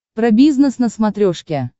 про бизнес на смотрешке